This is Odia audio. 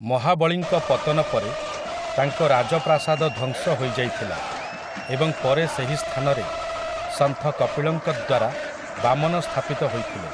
ମହାବଳୀଙ୍କ ପତନ ପରେ ତାଙ୍କ ରାଜପ୍ରାସାଦ ଧ୍ୱଂସ ହୋଇଯାଇଥିଲା ଏବଂ ପରେ ସେହି ସ୍ଥାନରେ ସନ୍ଥ କପିଳଙ୍କ ଦ୍ୱାରା ବାମନ ସ୍ଥାପିତ ହୋଇଥିଲେ ।